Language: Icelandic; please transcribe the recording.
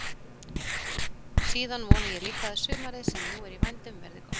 Síðan vona ég líka að sumarið sem nú er í vændum verði gott.